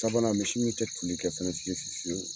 Sabanan misi min tɛ tunni kɛ fiye fiye fiyew